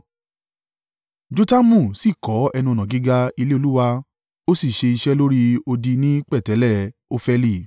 Jotamu sì kọ́ ẹnu-ọ̀nà gíga ilé Olúwa ó sì ṣe iṣẹ́ lórí odi ni pẹ̀tẹ́lẹ̀ Ofeli.